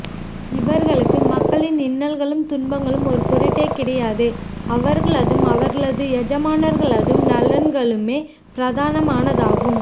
இவர்களுக்கு மக்களின் இன்னல்களும் துன்பங்களும் ஒரு பொருட்டே கிடையாது அவர்களதும் அவர்களது எஜமானர்களதும் நலன்களுமே பிரதானமானதாகும்